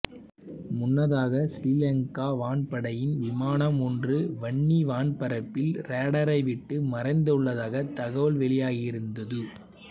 முன்னதாக சிறீலங்கா வான்படையின் விமானம் ஒன்று வன்னி வான்பரப்பில் ராடரைவிட்டு மறைந்துள்ளதாக தகவல்கள் வெளியாகியிருந்தது